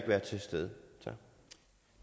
være til stede